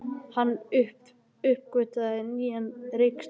Hann uppgötvaði nýja reikistjörnu!